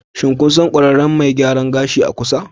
Shin kun san ƙwararren mai gyaran gashi a kusa?